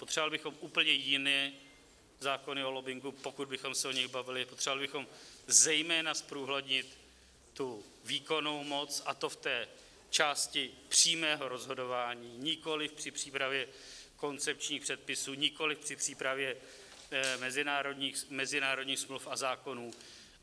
Potřebovali bychom úplně jiné zákony o lobbingu, pokud bychom se o nich bavili, potřebovali bychom zejména zprůhlednit tu výkonnou moc, a to v té části přímého rozhodování, nikoli při přípravě koncepčních předpisů, nikoliv při přípravě mezinárodních smluv a zákonů.